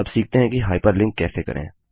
अब सीखते हैं कि हाइपरलिंक कैसे करें